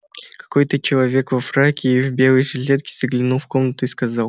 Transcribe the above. какой-то человек во фраке и в белой жилетке заглянул в комнату и сказал